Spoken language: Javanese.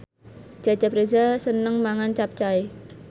Cecep Reza seneng mangan capcay